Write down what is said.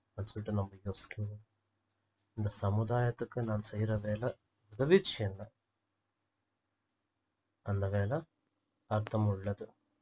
அப்படி சொல்லிட்டு நம்ம யோசிக்கணும் இந்த சமுதாயத்துக்கு நாம் செய்ற வேலை உதவிச்சுன்னா அந்த வேலை அர்த்தமுள்ளது